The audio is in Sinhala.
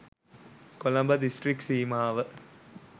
කොළඹ දිස්ත්‍රික් සීමාව